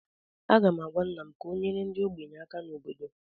Aga m agwa nna m ka ọ nyere ndị ogbenye aka na obodo